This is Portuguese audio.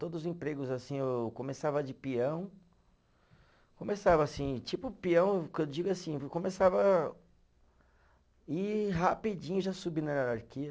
Todos empregos, assim, eu começava de peão, começava assim, tipo peão, que eu digo assim, começava e rapidinho já subi na hierarquia.